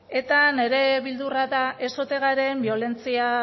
eta nire beldurra da ez ote garen